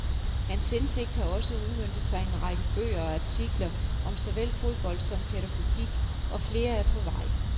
Hans indsigt har også udmøntet sig i en række bøger og artikler om såvel fodbold som pædagogik, og flere er på vej.